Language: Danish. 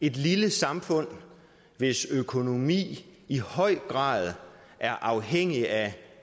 et lille samfund hvis økonomi i høj grad er afhængig af